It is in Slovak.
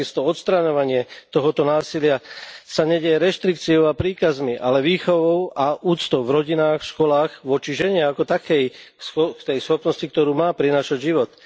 Takisto odstraňovanie tohto násilia sa nedeje reštrikciou a príkazmi, ale výchovou a úctou v rodinách, v školách, voči žene ako takej, k tej schopnosti, ktorú má prinášať život.